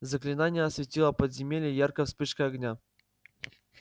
заклинание осветило подземелье яркой вспышкой огня